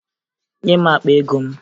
Nye m akpa ego m!